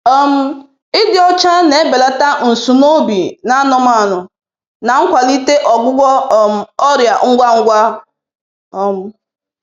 um Ịdị ọcha na-ebelata nsunoobi n'anụmanụ na nkwalite ọgwụgwụ um ọrịa ngwa ngwa. um